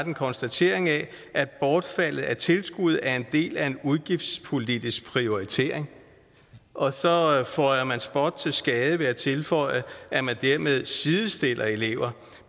en konstatering af at bortfaldet af tilskud er en del af en udgiftspolitisk prioritering og så føjer man spot til skade ved at tilføje at man dermed sidestiller elever